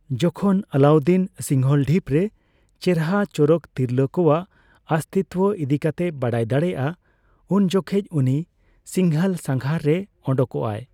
ᱡᱚᱠᱷᱚᱱ ᱟᱞᱟᱩᱫᱫᱤᱱ ᱥᱤᱝᱦᱚᱞ ᱰᱷᱤᱯ ᱨᱮ ᱪᱮᱨᱦᱟ ᱪᱚᱨᱚᱠ ᱛᱤᱨᱞᱟᱹ ᱠᱚᱣᱟᱜ ᱚᱥᱛᱷᱤᱛᱚ ᱤᱫᱤᱠᱟᱛᱮ ᱵᱟᱲᱟᱭ ᱫᱟᱲᱮᱭᱟᱜᱼᱟ, ᱩᱱ ᱡᱚᱠᱷᱚᱡ ᱩᱱᱤ ᱥᱤᱝᱦᱚᱞ ᱥᱟᱜᱷᱟᱨ ᱨᱮᱭ ᱚᱰᱚᱠᱚᱜᱼᱟ ᱾